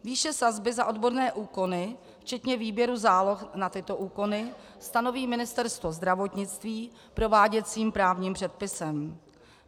Výše sazby za odborné úkony včetně výběru záloh na tyto úkony stanoví Ministerstvo zdravotnictví prováděcím právním předpisem.